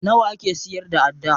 Nawa ake siyar da adda?